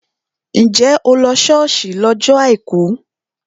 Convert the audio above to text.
Njẹ́ o lọ ṣọ́ọ̀ṣì lọ́jọ́ àìkú?